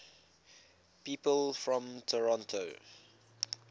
people from toronto